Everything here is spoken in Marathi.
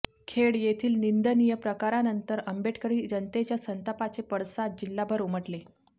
खेड येथील निंदनिय प्रकारानंतर आंबेडकरी जनतेच्या संतापाचे पडसाद जिल्हाभर उमटले